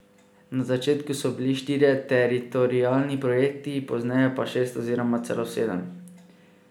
Na začetku so bili štirje teritorialni projekti, pozneje pa šest oziroma celo sedem.